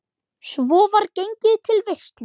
Svo var gengið til veislu.